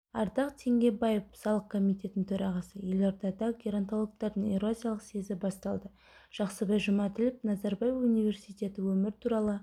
ардақ теңгебаев салық комитетінің төрағасы елордада геронтологтардың еуразиялық съезі басталды жақсыбай жұмаділов назарбаев университеті өмір туралы